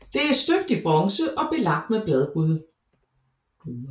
Det er støbt i bronze og belagt med bladguld